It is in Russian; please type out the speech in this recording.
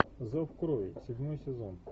зов крови седьмой сезон